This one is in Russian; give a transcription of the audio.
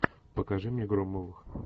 покажи мне громовых